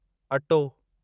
अटो